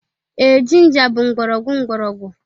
Ee, ginger bụ mgbọrọgwụ mgbọrọgwụ